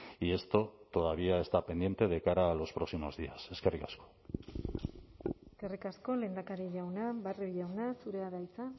y esto todavía está pendiente de cara a los próximos días eskerrik asko eskerrik asko lehendakari jauna barrio jauna zurea da hitza